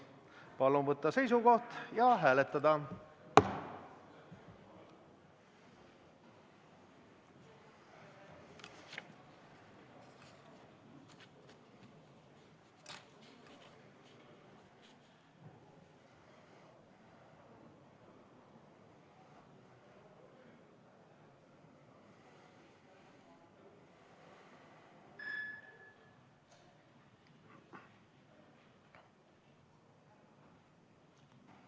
Palun võtta seisukoht ja hääletada!